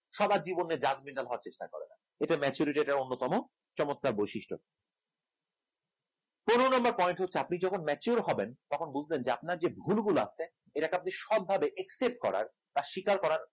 সবার জীবনে judgemental হওয়ার চেষ্টা করে না এটা maturity টার একটি অন্যতম চমৎকার বৈশিষ্ট্য পনের number point হচ্ছে আপনি যখন mature হবেন তখন বুঝবেন যে আপনার যে ভুলগুলা এর একটা আপনি সৎভাবে accept করার বা স্বীকার করার